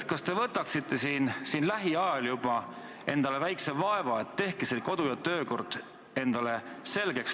Kas te võtaksite lähiajal endale väikese vaeva ja teeksite selle kodu- ja töökorra seaduse endale selgeks?